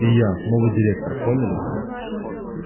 и я новый директор поняли